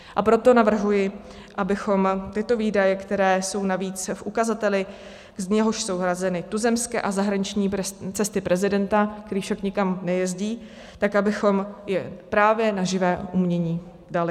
A proto navrhuji, abychom tyto výdaje, které jsou navíc v ukazateli, z něhož jsou hrazeny tuzemské a zahraniční cesty prezidenta, který však nikam nejezdí, tak abychom je právě na živé umění dali.